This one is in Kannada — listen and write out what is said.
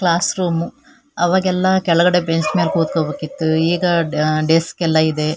ಕ್ಲಾಸ್ ರೂಮ್ ಅವಾಗೆಲ್ಲ ಕೆಳಗಡೆ ಬೆಂಚ್ ಮೇಲೆ ಕೂತುಕೊಳ್ಳ ಬೇಕಾಗಿತ್ತು ಈಗ ಡೆಸ್ಕ್ ಎಲ್ಲ ಇದೆ.